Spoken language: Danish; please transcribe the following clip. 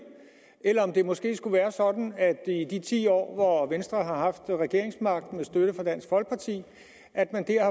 eller om det måske skulle være sådan at det er i de ti år hvor venstre har haft regeringsmagten med støtte fra dansk folkeparti at man der